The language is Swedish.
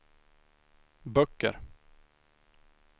böcker